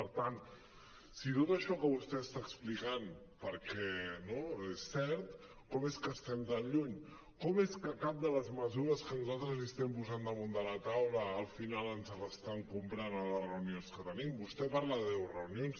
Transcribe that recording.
per tant si tot això que vostè està explicant perquè no és cert com és que estem tan lluny com és que cap de les mesures que nosaltres els estem posant da·munt la taula al final ens les estan comprant a les reunions que tenim vostè parla de deu reunions